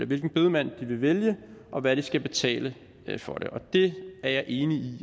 hvilken bedemand de vil vælge og hvad de skal betale for det jeg er enig i